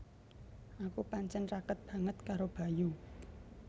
Aku pancen raket banget karo Bayu